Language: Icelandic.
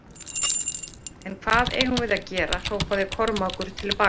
En hvað eigum við að gera hrópaði Kormákur til baka.